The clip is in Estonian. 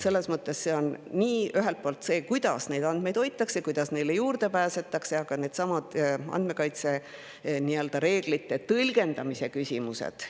Selles mõttes on ühelt poolt, kuidas andmeid hoitakse ja kuidas neile juurde pääsetakse, aga ka andmekaitsereeglite tõlgendamise küsimused.